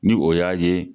Ni o y'a ye